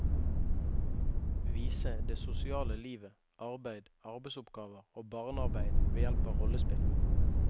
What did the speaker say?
Vise det sosiale livet, arbeid, arbeidsoppgaver og barnearbeid ved hjelp av rollespill.